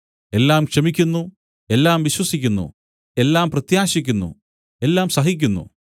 എല്ലാം ക്ഷമിക്കുന്നു എല്ലാം വിശ്വസിക്കുന്നു എല്ലാം പ്രത്യാശിയ്ക്കുന്നു എല്ലാം സഹിക്കുന്നു